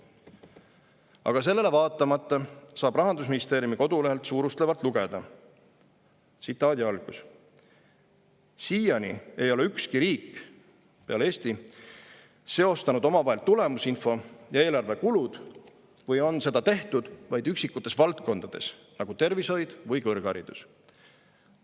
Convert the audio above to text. Aga sellele vaatamata saab Rahandusministeeriumi kodulehelt suurustlevalt lugeda: "… siiani ei ole ükski riik seostanud omavahel tulemusinfo ja eelarve kulud või on seda tehtud vaid üksikutes valdkondades nagu tervishoid või kõrgharidus.